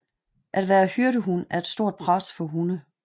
At være hyrdehund er et stort pres for hunde